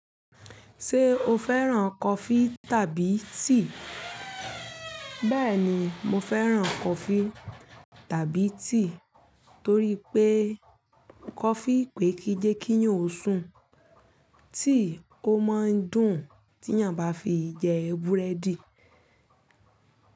Ṣé o fẹ́ràn coffee tàbí tea? Bẹ́ẹ̀ni, mo fẹ́ràn coffee tàbí tea torí pé coffee pé kí jẹ́ kí nyún osùn, tea ó máa ń dùn tí ènìyàn bá fi jẹ búrẹ́dì.